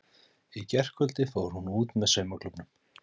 Í gærkvöldi fór hún út með saumaklúbbnum.